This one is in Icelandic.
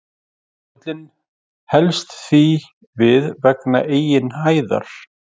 Jökullinn helst því við vegna eigin hæðar.